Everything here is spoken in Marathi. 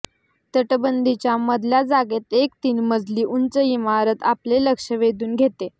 तटबंदीच्या मधल्या जागेत एक तीन मजली उंच इमारत आपले लक्ष वेधून घेते